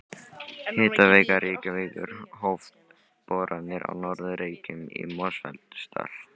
Hitaveita Reykjavíkur hóf boranir á Norður Reykjum í Mosfellsdal.